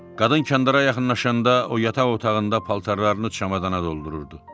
Qadın kəndara yaxınlaşanda o yataq otağında paltarlarını çamadana doldururdu.